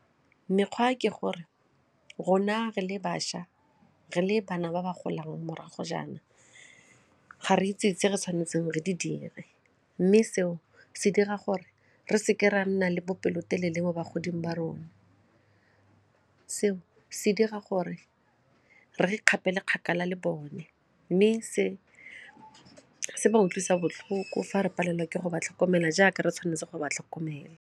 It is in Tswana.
Mekgwa ke gore rona re le bašwa, re le bana ba ba golang morago jaana, ga re itse itse re tshwanetseng re di dire mme seo se dira gore re seke ra nna le bopelotelele mo ba godimo ba rona seo se dira gore re di kgapele kgakala le bone mme se se utlwisa botlhoko fa re palelwa ke go ba tlhokomela jaaka re tshwanetse go ba tlhokomela.